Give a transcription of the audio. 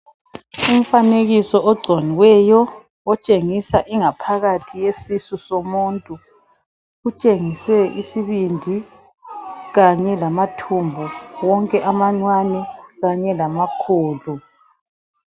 Umfanekiso ogciniweyo otshengisa ingaphakathi yesisu somuntu. Utshengiswe isibindi kanye lamathumbu wonke amancane kanye lamakhulu.